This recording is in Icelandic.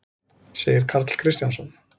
segir Karl Kristjánsson.